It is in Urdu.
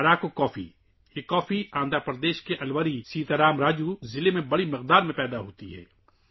اراکو کافی بڑی مقدار میں آندھرا پردیش کے الوری سیتا راما راجو ضلع میں اگائی جاتی ہے